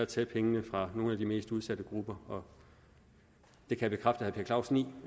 tage pengene fra nogle af de mest udsatte grupper jeg kan bekræfte herre per clausen i